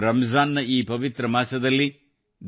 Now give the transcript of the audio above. rum John ನ ಈ ಪವಿತ್ರ ಮಾಸದಲ್ಲಿ ಡಾ